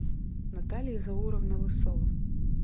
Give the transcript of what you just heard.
наталья зауровна лысова